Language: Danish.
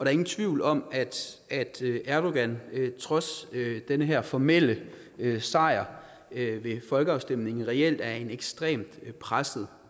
er ingen tvivl om at erdogan trods den her formelle sejr ved folkeafstemningen reelt er en ekstremt presset